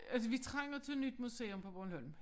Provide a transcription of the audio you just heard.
Altså vi trænger til nyt museum på Bornholm